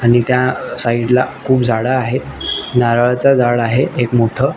आणि त्या साइट ला अ खुप झाड आहेत नारळाच झाड आहे एक मोठ.